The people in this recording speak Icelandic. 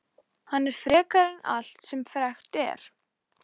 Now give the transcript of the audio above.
Hann er frekari en allt sem frekt er.